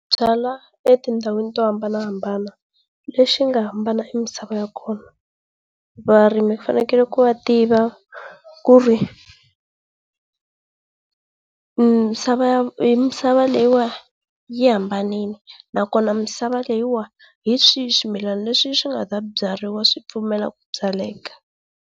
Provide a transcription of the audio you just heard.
Byala etindhawini to hambanahambana. Lexi nga hambana i misava ya kona. Varimi fanekele ku va tiva misava ya misava leyi wa yi hambanile nakona misava leyi wa hi swihi swimilana leswi sw nga ta byariwa swi pfumela ku byaleka.